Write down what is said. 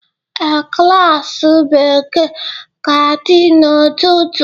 Ee, klas Bekee ga-adị n'ụtụtụ.